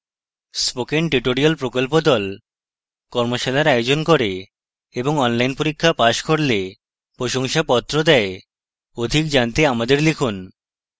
spoken tutorial প্রকল্প the কর্মশালার আয়োজন করে এবং online পরীক্ষা পাস করলে প্রশংসাপত্র দেওয়া হয় অধিক জানতে আমাদের লিখুন